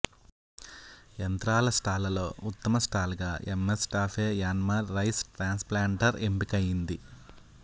యంత్రాల స్టాళ్లలో ఉత్తమ స్టాల్గా M S TAFE Yanmar rice transplanter ఎంపికైంది